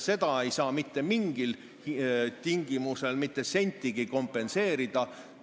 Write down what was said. Seal ei saa mitte mingil tingimusel mitte sentigi kompenseerida.